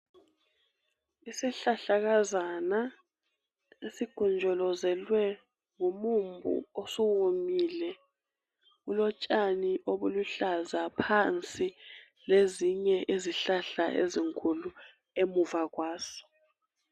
Isihlahlakazana esigonjolozelwe ngomumbu osuwomile kulotshani obuluhlaza phansi lezinye izihlahla ezinkulu emuva kwaso .